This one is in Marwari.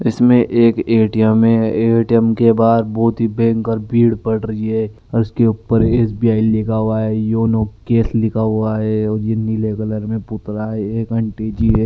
इसमें एक ए.टी.एम है ए.टी.एम के बाहर बहुत भयंकर भीड़ बड़ रही है इसके उपर एस.बी.आई लिखा हुआ है योनो कैश लिखा हुआ है और ये नीले कलर में पुपला है में एक आंटी जी है।